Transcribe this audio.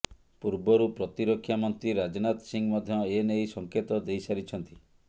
ପୂର୍ବରୁ ପ୍ରତିରକ୍ଷା ମନ୍ତ୍ରୀ ରାଜନାଥ ସିଂହ ମଧ୍ୟ ଏନେଇ ସଂକେତ ଦେଇସାରିଛନ୍ତି